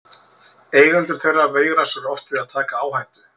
Eigendur þeirra veigra sér oft við að taka áhættu.